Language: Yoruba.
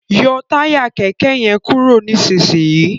yọ Táyà kéké yen kúrò nísìsiyìí!